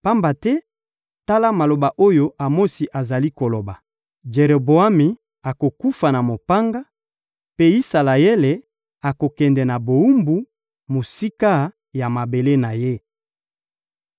Pamba te, tala maloba oyo Amosi azali koloba: ‹Jeroboami akokufa na mopanga, mpe Isalaele akokende na bowumbu, mosika ya mabele na ye.›»